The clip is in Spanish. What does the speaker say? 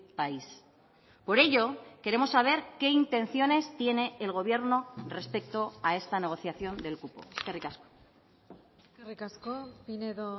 país por ello queremos saber qué intenciones tiene el gobierno respecto a esta negociación del cupo eskerrik asko eskerrik asko pinedo